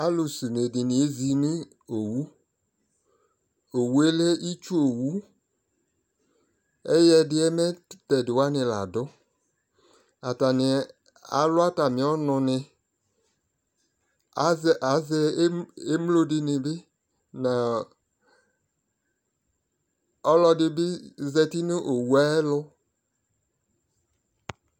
Alʊsɛ une nɩ ezɩnʊ itsu owu ɛyɛdɩyɛ mɛ tɛdɩ wanɩ ladʊ atanɩ alʊ atamɩ ɔnʊnɩ azɛ emlodɩnɩ bɩ nʊ ɔlɔdɩdɩ zatɩ nʊ owʊyɛ ayʊ ɛlʊ